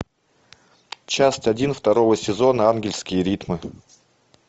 часть один второго сезона ангельские ритмы